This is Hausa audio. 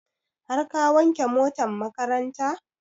Har ka wanke motan makaranta?